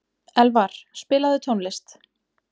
Elvar, spilaðu tónlist.